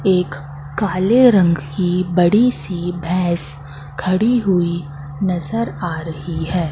एक काले रंग की बड़ी सी भैंस खड़ी हुई नजर आ रही है।